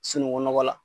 Sunukunɔgɔ la